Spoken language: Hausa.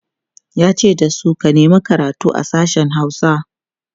yace dasu "ka nema karatu a sashen Hausa!"